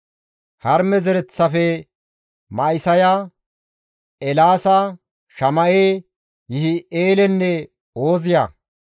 Harime zereththafe, Ma7isaya, Eelaasa, Shama7e, Yihi7eelenne Ooziya;